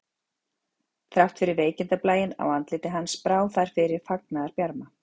Þrátt fyrir veikindablæinn á andliti hans brá þar fyrir fagnaðarbjarma